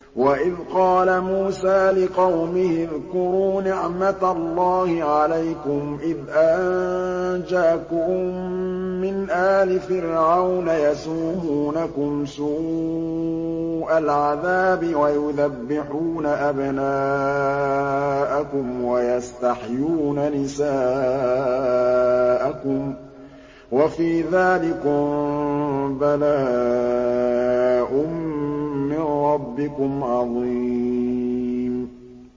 وَإِذْ قَالَ مُوسَىٰ لِقَوْمِهِ اذْكُرُوا نِعْمَةَ اللَّهِ عَلَيْكُمْ إِذْ أَنجَاكُم مِّنْ آلِ فِرْعَوْنَ يَسُومُونَكُمْ سُوءَ الْعَذَابِ وَيُذَبِّحُونَ أَبْنَاءَكُمْ وَيَسْتَحْيُونَ نِسَاءَكُمْ ۚ وَفِي ذَٰلِكُم بَلَاءٌ مِّن رَّبِّكُمْ عَظِيمٌ